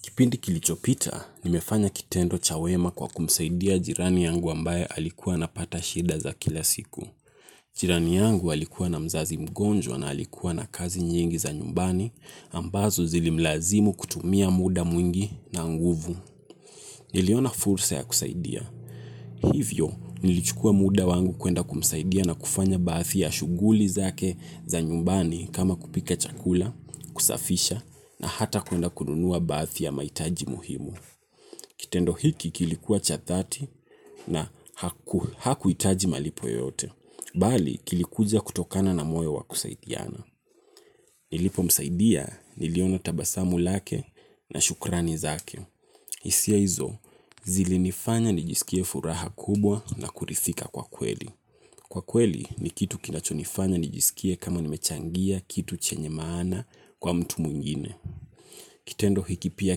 Kipindi kilichopita, nimefanya kitendo cha wema kwa kumsaidia jirani yangu ambaye alikuwa anapata shida za kila siku. Jirani yangu alikuwa na mzazi mgonjwa na alikuwa na kazi nyingi za nyumbani ambazo zilimlazimu kutumia muda mwingi na nguvu. Niliona fursa ya kusaidia. Hivyo, nilichukua muda wangu kwenda kumsaidia na kufanya bathi ya shughuli zake za nyumbani kama kupika chakula, kusafisha na hata kwenda kununua bathi ya mahitaji muhimu. Kitendo hiki kilikua cha thati, na hakuhitaji malipo yoyote. Bali kilikuja kutokana na moyo wa kusaidiana. Nilipomsaidia niliona tabasamu lake na shukrani zake. Hisia hizo, zilinifanya nijisikie furaha kubwa na kurithika kwa kweli. Kwa kweli ni kitu kinachonifanya nijisikie kama nimechangia kitu chenye maana kwa mtu mwingine. Kitendo hiki pia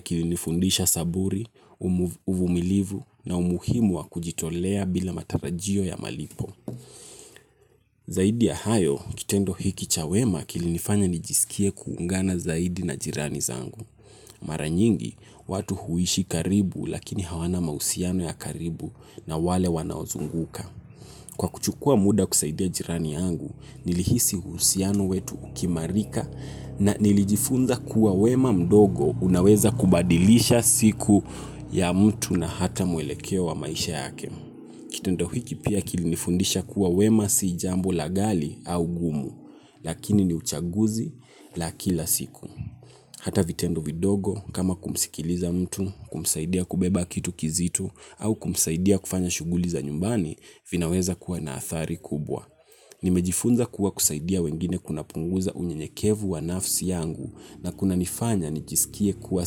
kilinifundisha saburi, uvumilivu na umuhimu wa kujitolea bila matarajio ya malipo. Zaidi ya hayo, kitendo hiki cha wema kilinifanya nijisikie kuungana zaidi na jirani zangu. Mara nyingi, watu huishi karibu lakini hawana mausiano ya karibu na wale wanaozunguka. Kwa kuchukua muda kusaidia jirani yangu, nilihisi uhusiano wetu ukiimarika na nilijifunza kuwa wema mdogo unaweza kubadilisha siku ya mtu na hata muelekeo wa maisha yake. Kitendo hiki pia kilinifundisha kuwa wema si jambo la ghali au gumu, lakini ni uchaguzi la kila siku. Hata vitendo vidogo kama kumsikiliza mtu, kumsaidia kubeba kitu kizito au kumsaidia kufanya shughuli za nyumbani vinaweza kuwa na athari kubwa. Nimejifunza kuwa kusaidia wengine kunapunguza unyenyekevu wa nafsi yangu na kunanifanya nijisikie kuwa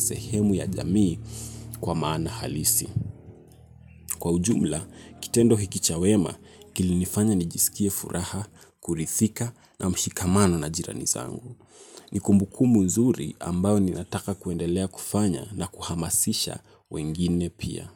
sehemu ya jamii kwa maana halisi. Kwa ujumla, kitendo hiki cha wema kilinifanya nijisikie furaha, kurithika na mshikamano na jirani zangu. Ni kumbukumbu nzuri ambayo ninataka kuendelea kufanya na kuhamasisha wengine pia.